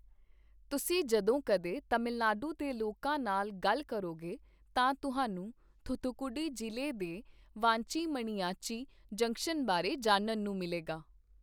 ਤੁਸੀਂ ਜਦੋਂ ਕਦੇ ਤਮਿਲਨਾਡੂ ਦੇ ਲੋਕਾਂ ਨਾਲ ਗੱਲ ਕਰੋਗੇ, ਤਾਂ ਤੁਹਾਨੂੰ ਥੁਥੁਕੁਡੀ ਜ਼ਿਲੇ ਦੇ ਵਾਂਚੀ ਮਣੀਯਾਚੀ ਜੰਕਸ਼ਨ ਬਾਰੇ ਜਾਣਨ ਨੂੰ ਮਿਲੇਗਾ।